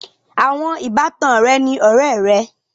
Àwọn ìbátan rẹ ni ọ̀rẹ̀ è rẹ.